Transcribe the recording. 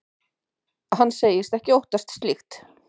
Hann segist ekki óttast slíkt.